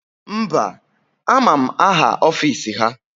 Mba, ama m aha ọfisi ha